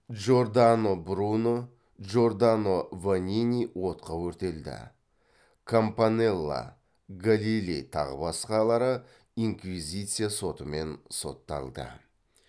джордано бруно джордано ванини отқа өртелді кампанелла галилей тағы басқалары инквизиция сотымен сотталды